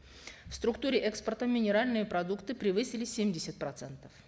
в структуре экспорта минеральные продукты превысили семьдесят процентов